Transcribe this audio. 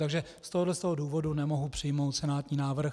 Takže z tohoto důvodu nemohu přijmout senátní návrh.